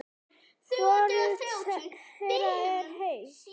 Hvorug þeirra er heil.